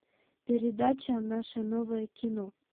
передача наше новое кино